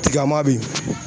Tigama be yen